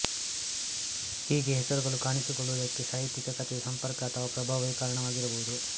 ಹೀಗೆ ಹೆಸರುಗಳು ಕಾಣಿಸಿಕೊಳ್ಳುವುದಕ್ಕೆ ಸಾಹಿತ್ಯಿಕ ಕಥೆಯ ಸಂಪರ್ಕ ಅಥವಾ ಪ್ರಭಾವವೇ ಕಾರಣವಾಗಿರಬೇಕು